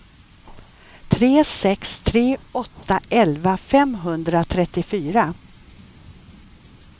tre sex tre åtta elva femhundratrettiofyra